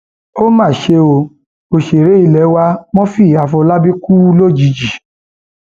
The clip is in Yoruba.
ó mà ṣe o òṣèré ilé wa murphy afolábí kú lójijì